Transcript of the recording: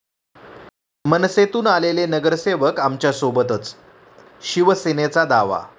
मनसेतून आलेले नगरसेवक आमच्यासोबतच, शिवसेनेचा दावा